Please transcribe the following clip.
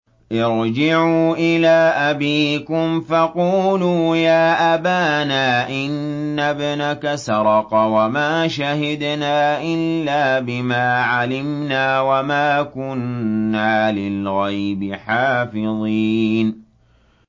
ارْجِعُوا إِلَىٰ أَبِيكُمْ فَقُولُوا يَا أَبَانَا إِنَّ ابْنَكَ سَرَقَ وَمَا شَهِدْنَا إِلَّا بِمَا عَلِمْنَا وَمَا كُنَّا لِلْغَيْبِ حَافِظِينَ